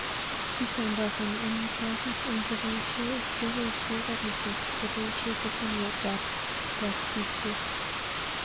Kisambasani amitwokik eng chepoisyei kepoishei garishek chepoishei sitimet ab boksisjek